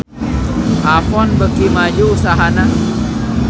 Avon beuki maju usahana